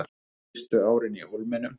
Fyrstu árin í Hólminum